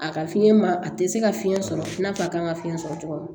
A ka fiɲɛ ma a tɛ se ka fiyɛn sɔrɔ i n'a fɔ a kan ka fiɲɛ sɔrɔ cogo min